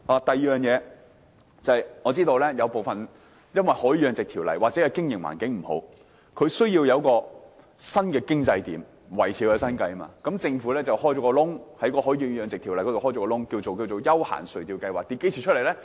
第二，我知道部分養魚戶或許因為經營環境不佳，需要開闢新收入來源以維持生計，政府於是在《海魚養殖條例》中打開一條縫隙，名為"休閒垂釣業務計劃"。